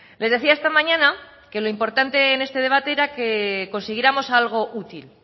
les decía esta mañana que lo importante en este debate era que consiguiéramos algo útil